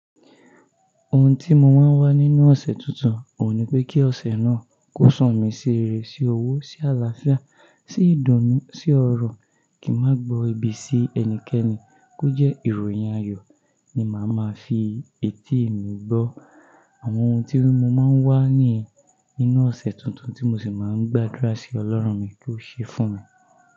Ohun tí mo máa ń wá nínú ọ̀sẹ̀ tuntun, ò ní pé kí ọ̀sẹ̀ náà kó sún mí sí reré, sí owó, sí àlàáfíà, sí ìdùnnú, sí ọrọ̀, kí n má gbo ebi sí ẹnikẹ́ni kó jẹ́ ìròyìn ayọ̀ ni màá máa fi etí mi gbọ́. Àwọn ohun tí mo máa ń wá níyen ninu ọ̀sẹ̀ tuntun tí mo sì máa ń gbàdúrà sí ọlọ́run mi kó ṣe fún mi.